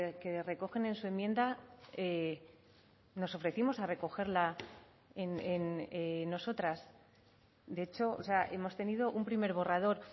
que recogen en su enmienda nos ofrecimos a recogerla nosotras de hecho o sea hemos tenido un primer borrador